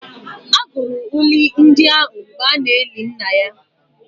A gụrụ uri ndị ahụ mgbe a na-eli nna ya